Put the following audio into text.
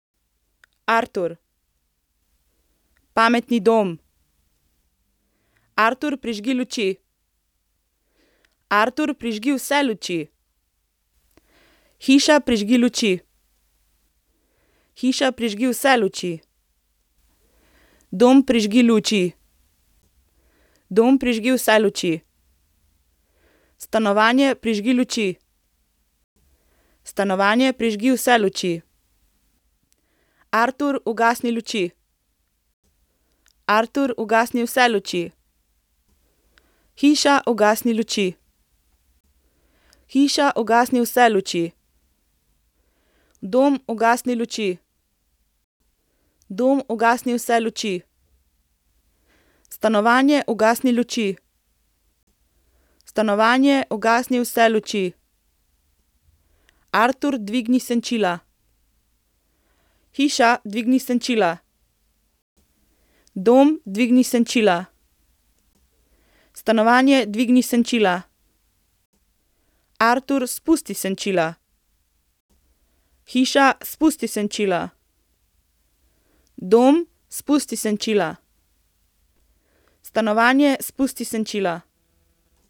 Artur. Pametni dom. Artur, prižgi luči. Artur, prižgi vse luči. Hiša, prižgi luči. Hiša, prižgi vse luči. Dom, prižgi luči. Dom, prižgi vse luči. Stanovanje, prižgi luči. Stanovanje, prižgi vse luči. Artur, ugasni luči. Artur, ugasni vse luči. Hiša, ugasni luči. Hiša, ugasni vse luči. Dom, ugasni luči. Dom, ugasni vse luči. Stanovanje, ugasni luči. Stanovanje, ugasni vse luči. Artur, dvigni senčila. Hiša, dvigni senčila. Dom, dvigni senčila. Stanovanje, dvigni senčila. Artur, spusti senčila. Hiša, spusti senčila. Dom, spusti senčila. Stanovanje, spusti senčila.